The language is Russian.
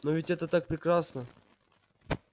но ведь это так прекрасно